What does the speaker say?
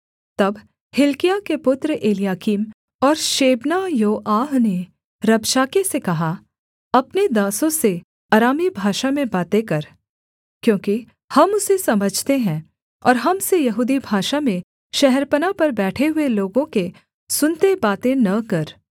तब हिल्किय्याह के पुत्र एलयाकीम और शेबना योआह ने रबशाके से कहा अपने दासों से अरामी भाषा में बातें कर क्योंकि हम उसे समझते हैं और हम से यहूदी भाषा में शहरपनाह पर बैठे हुए लोगों के सुनते बातें न कर